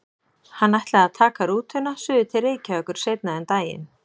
Hann ætlaði að taka rútuna suður til Reykjavíkur seinna um daginn.